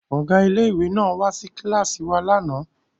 Ọ̀gá ilé ìwé náà wá sí kíláàsì wa lánàá